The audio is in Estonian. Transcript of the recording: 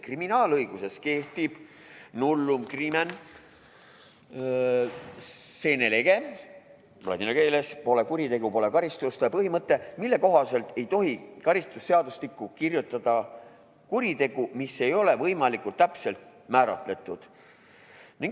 Kriminaalõiguses kehtib nullum crimen sine lege põhimõte, mille kohaselt ei tohi karistusseadustikku kirjutada kuritegu, mis ei ole võimalikult täpselt määratletud.